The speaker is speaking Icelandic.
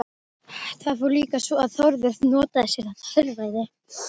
Það fór líka svo að Þórður notaði sér þetta heilræði.